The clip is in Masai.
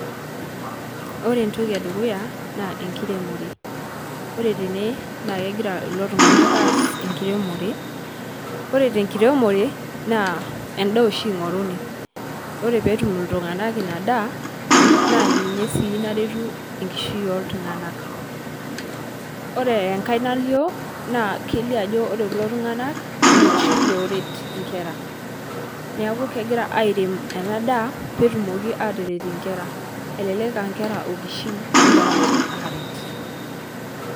Ore entoki e dukuya naa enkiremore, ore tene naa kegira kulo tung'anak aas enkiremore. Ore tenkiremore naa endaa oshi ing'oruni, ore peetum iltung'anak ina daa naa ninye sii naretu enkishui ooltung'anak. Ore enkae nalio naa kelio ajo ore kulo tung'anak naa loshi looret nkera, neeku kegira airem ena daa peetumoki aataretie nkera, elelek aa nkera okishin egira ninje aaret.